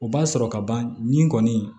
O b'a sɔrɔ ka ban nin kɔni